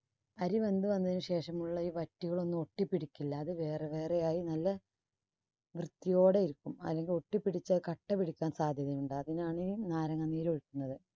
അരി വെന്ത് വന്നതിനു ശേഷമുള്ള ഈ വറ്റുകളൊന്നും ഒട്ടിപ്പിടിക്കില്ല. അത് വേറെ വേറെ ആയി നല്ല വൃത്തിയോടെയിരിക്കും. അല്ലെങ്കിൽ ഒട്ടിപ്പിടിച്ചാൽ കട്ടപിടിക്കാൻ സാധ്യത ഉണ്ട് അതിനാണ് നാരങ്ങാ നീര് ഒഴിക്കുന്നത്.